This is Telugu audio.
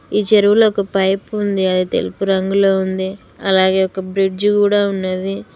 ఈ చెరువులో ఒక పైపు ఉంది అది తెలుపు రంగులో ఉంది అలాగే ఒక బ్రిడ్జి కూడా ఉన్నది.